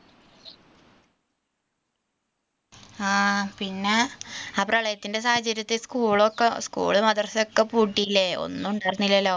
ആ പിന്നെ ആ പ്രളയത്തിൻറെ സാഹചര്യത്തിൽ school ക്കെ school, madrasa ഒക്കെ പൂട്ടിയില്ലേ ഒന്നുമുണ്ടായിരുന്നില്ലല്ലോ